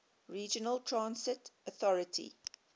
regional transit authority